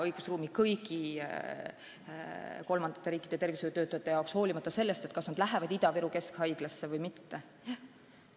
See peab silmas kõiki kolmandate riikide tervishoiutöötajaid, olenemata sellest, kas nad lähevad tööle Ida-Viru Keskhaiglasse või mujale.